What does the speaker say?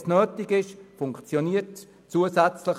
Dort, wo es nötig ist, funktioniert es.